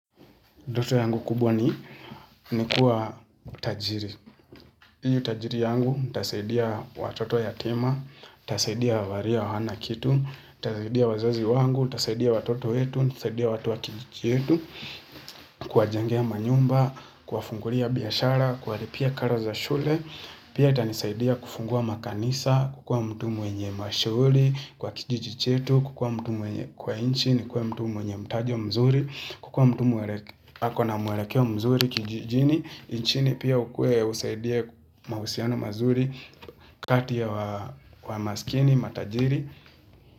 Ndoto yangu kubwa ni kuwa tajiri. Hii utajiri yangu, nitasaidia watoto yatima, nitasaidia walio hawana kitu, nitasaidia wazazi wangu, nitasaidia watoto yetu, tasaidia watu wa kijiji yetu, kuwjengea manyumba, kuwafungulia biashara, kuwalipia karo za shule, pia itanisaidia kufungua makanisa, kukua mtu mwenye mashuhuri, kwa kijiji chetu, kukua mtu mwenye kwa nchi nikuwe mtu mwenye mtajo mzuri, kukua mtu mwelekeo mzuri kijijini, nchini pia ukue usaidie, mahusiano mazuri, kati ya masikini, matajiri.